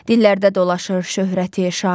Dillərdə dolaşır şöhrəti, şanı.